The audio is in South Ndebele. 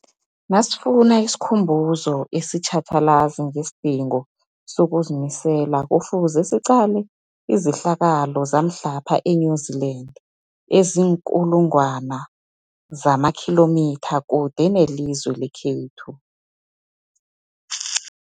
Nasifuna isikhumbuzo esitjhatjhalazi ngesidingo sokuzimisela, Kufuze siqale izehlakalo zamhlapha e-New Zealand eziinkulu ngwana zamakhilomitha kude nelizwe lekhethu.